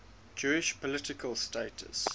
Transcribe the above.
jewish political status